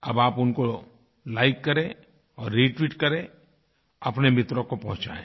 अब आप उनको लाइक करें और रेटविट करें अपने मित्रों को पहुँचाएँ